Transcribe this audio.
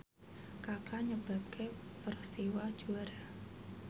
Kaka nyebabke Persiwa juara